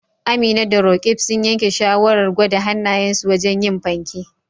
Amina da Roqeeb sun yanke shawarar gwada hannayensu wajen yin fanke